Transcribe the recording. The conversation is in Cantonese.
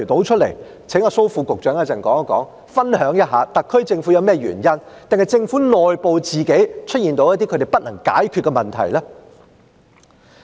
請蘇副局長稍後分享一下，特區政府是否有甚麼原因，還是政府內部出現了一些自己不能解決的問題。